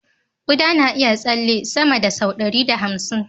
Kuda na iya tsalle sama da sau ɗari da hamsin